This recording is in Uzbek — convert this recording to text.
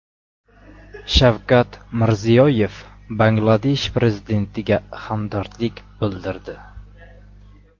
Shavkat Mirziyoyev Bangladesh prezidentiga hamdardlik bildirdi.